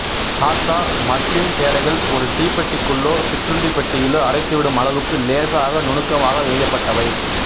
Dhaka muslin சேலைகள் ஒரு தீப்பெட்டிக்குள்ளோ சிற்றுண்டி பெட்டியிலோ அடைத்துவிடும் அளவுக்கு லேசாக நுணுக்கமாக நெய்யப்பட்டவை